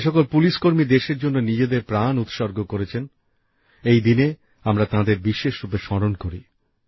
যে সকল পুলিশকর্মী দেশের জন্য নিজেদের প্রাণ উৎসর্গ করেছেন এই দিনে আমরা তাঁদের বিশেষ রূপে স্মরণ করি